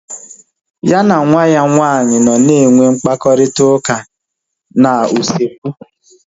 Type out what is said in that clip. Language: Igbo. Ya na nwa ya nwaanyị nọ na enwe mkparịta ụka na usekwu